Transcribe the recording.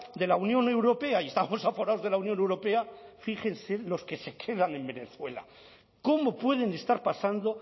de la unión europea y estamos aforados de la unión europea fíjense los que se quedan en venezuela cómo pueden estar pasando